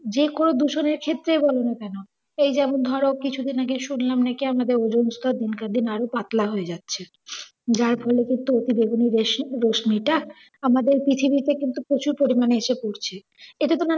যে কোনও দূষণের ক্ষেত্রেই বল না কেন, এই যেমন ধরো কিছুদিন আগে শুনলাম নাকি আমাদের ওজোনস্তর দিনকে দিন আর ও পাতলা হয়ে যাচ্ছে যার ফলে কিন্তু অতিবেগুনি রশ্মিটা আমাদের পৃথিবীতে কিন্তু প্রচুর পরিমাণে এসে পড়ছে। এতে তোমার